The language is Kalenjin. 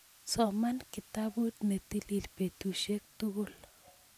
soman kitabut ne tilil betusiek tugul